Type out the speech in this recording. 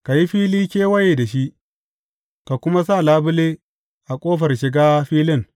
Ka yi fili kewaye da shi, ka kuma sa labule a ƙofar shiga filin.